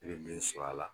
I bɛ min sɔrɔ a la